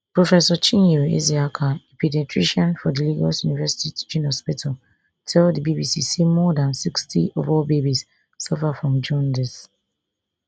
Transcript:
professor chinyere ezeaka a paediatrician for di lagos university teaching hospital tell di bbc say more dan sixty of all babies suffer from jaundice